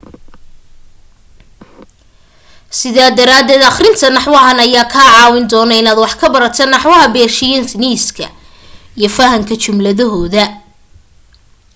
sidaa daraaded aqrinta naxwahan ayaa kaa caawin doono inaad wax ka barato naxwaha beershiyaniska iyo fahanka jumladahooda